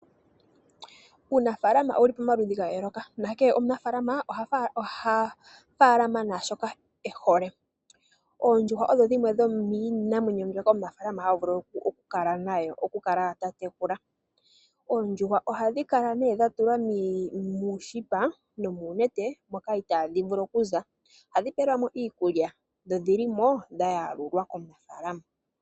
Uunafaalama owu li pamaludhi ga yooloka, nakehe omunafaalama oha faalama naashoka e hole. Oondjuhwa odho dhimwe dhomiinamwenyo mbyoka omunafaalama ha vulu oku kala ta tekula. Oondjuhwa ohadhi kala nee dha tulwa muushipa nomuunete moka itaadhi vulu okuza, ohadhi pelwamo iikulya dho odhi li mo dha yalulwa komunafaalama.